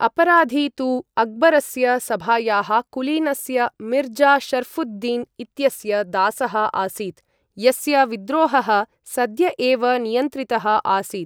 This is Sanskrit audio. अपराधी तु अक्बरस्य सभायाः कुलीनस्य मिर्जा शर्ऴुद्दीन् इत्यस्य दासः आसीत्, यस्य विद्रोहः सद्य एव नियन्त्रितः आसीत्।